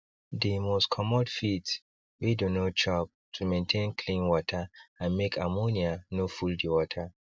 they must commot feeds wey dey no chop to maintain clean water and make ammonia no full the water